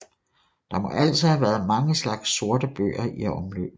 Der må altså have været mange slags sortebøger i omløb